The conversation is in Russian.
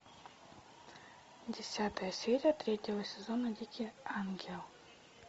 десятая серия третьего сезона дикий ангел